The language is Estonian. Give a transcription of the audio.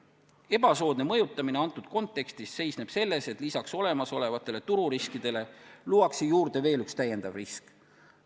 Ebasoodne mõjutamine antud kontekstis seisneb selles, et lisaks olemasolevatele tururiskidele luuakse juurde veel üks risk.